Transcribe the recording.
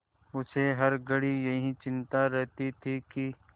उसे हर घड़ी यही चिंता रहती थी कि